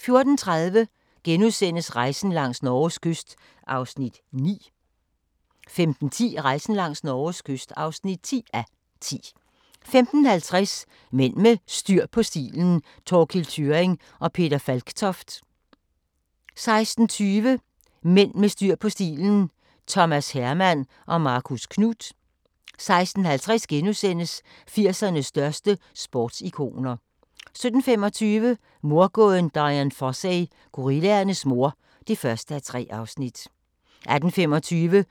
14:30: Rejsen langs Norges kyst (9:10)* 15:10: Rejsen langs Norges kyst (10:10) 15:50: Mænd med styr på stilen – Thorkild Thyrring & Peter Falktoft 16:20: Mænd med styr på stilen: Thomas Herman & Marcus Knuth 16:50: 80'ernes største sportsikoner * 17:35: Mordgåden Dian Fossey - gorillaernes mor (1:3) 18:25: